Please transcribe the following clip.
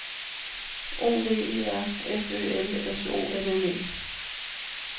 O V E R F Ø L S O M M E